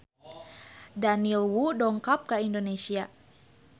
Daniel Wu dongkap ka Indonesia